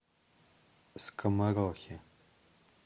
скоморохи